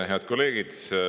Head kolleegid!